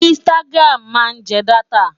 Instagram máa ń jẹ dátà.